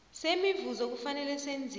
semivuzo kufanele senziwe